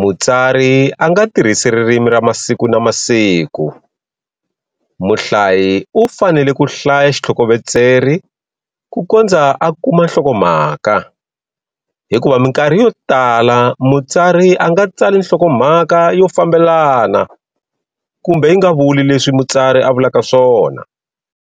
mutsari a nga tirhisi ririmi ra masiku na masiku muhlayi u fanele ku hlaya xithlokovetseri ku kondza u kuma nhlokomhaka, hikuva minkarhi yo tala mutsari a nga tsali nhlokomhaka yo fambelana kumbe yi nga vuli leswi mutsari a vulaka swona.